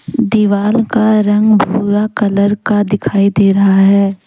दीवार का रंग भूरा कलर का दिखाई दे रहा है।